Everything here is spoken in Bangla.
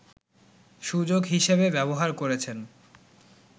সুযোগ হিসেবে ব্যবহার করেছেন